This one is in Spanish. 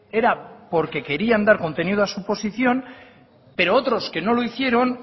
era porque querían dar contenido a su posición pero otros que no lo hicieron